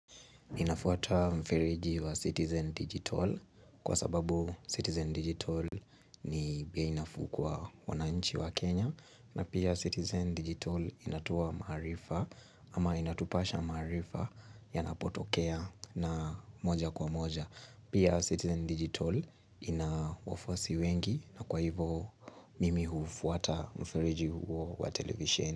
Ninafuata mfereji wa Citizen Digital kwa sababu Citizen Digital ni bei nafuu kwa wananchi wa Kenya na pia Citizen Digital inatoa maarifa ama inatupasha maarifa yanapotokea na moja kwa moja pia Citizen Digital ina wafuasi wengi na kwa hivo mimi hufuata mfereji huo wa televisheni.